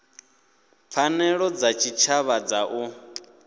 pfanelo dza tshitshavha dza u